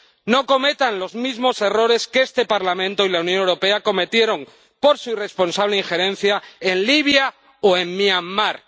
No cometan los mismos errores que este Parlamento y la Unión Europea cometieron por su irresponsable injerencia en Libia o en Myanmar.